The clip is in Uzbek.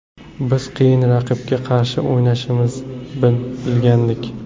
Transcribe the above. Biz qiyin raqibga qarshi o‘ynashimizni bilgandik.